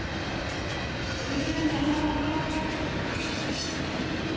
Segðu henni að fara frá tröppunum